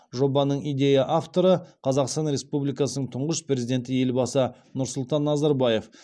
жобаның идея авторы қазақстан республикасының тұңғыш президенті елбасы нұрсұлтан назарбаев